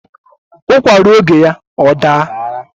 Ụkwa ruo oge ya ọ daa